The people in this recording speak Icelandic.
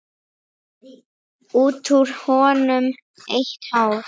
Út úr honum eitt hár.